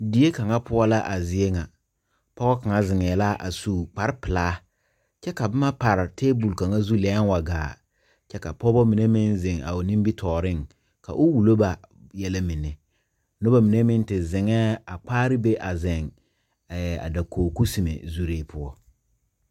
Die kaŋa poɔ la a zie ŋa pɔɔ kaŋa zeŋɛɛ la a su kparepelaa kyɛ ka bomma pare tabol kaŋa lɛɛŋ wa gaa kyɛ ka pɔɔbɔ mine meŋ zeŋ a o nimitooreŋ ka o wullo ba yɛlɛ mine nobɔ mine meŋ te zeŋɛɛ a kpaare be a zeŋ ɛɛ a dakoge kusime zurree poɔ.